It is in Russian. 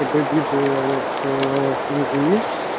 твоего отца